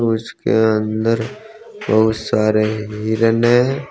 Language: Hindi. उसके अंदर बहुत सारे हिरन है।